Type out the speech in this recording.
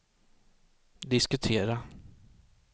diskutera